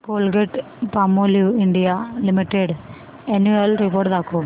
Colgate Palmolive India limited annual report दाखव